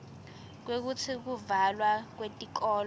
kwekutsi kuvalwa kwetikolo